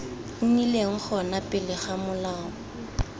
nnileng gona pele ga molao